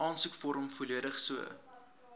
aansoekvorm volledig so